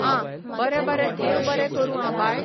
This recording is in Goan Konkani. आं बरें बरें देव बरें करूं आं बाय